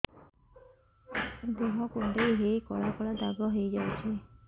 ଦେହ କୁଣ୍ଡେଇ ହେଇ କଳା କଳା ଦାଗ ହେଇଯାଉଛି